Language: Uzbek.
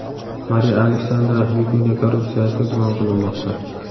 Mariya Alexandra Vikunya korrupsiyada gumon qilinmoqda.